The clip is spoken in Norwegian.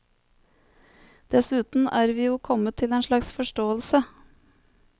Dessuten er vi jo kommet til en slags forståelse.